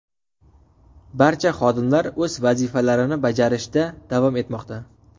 Barcha xodimlar o‘z vazifalarini bajarishda davom etmoqda.